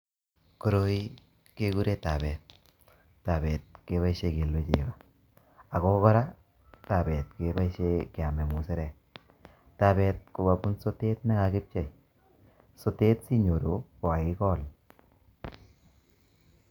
Koroi kekure tabet. Tabet keboisie kelue chego. Ako kora, tabet keboisie keame musarek. Tabet ko kabun sotet ne kakipchei. Sotet sinyoru, kokakikol.